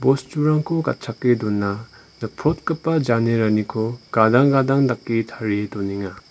bosturangko gatchake dona nikprotgipa janeraniko gadang gadang dake tarie donenga.